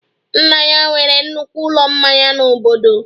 Nna ya nwere nnukwu ụlọ mmanya n'obodo